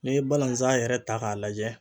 N'e ye balanzan yɛrɛ ta k'a lajɛ